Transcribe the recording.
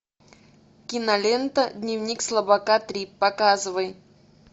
кинолента дневник слабака три показывай